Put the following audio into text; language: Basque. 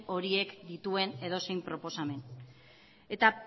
horiek dituen edozein proposamen eta